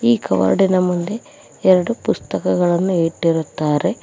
ಈ ಕಬೋರ್ಡಿ ನ ಮುಂದೆ ಎರಡು ಪುಸ್ತಕಗಳನ್ನು ಇಟ್ಟಿರುತ್ತಾರೆ.